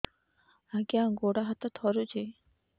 ଆଜ୍ଞା ଗୋଡ଼ ହାତ ଥରୁଛି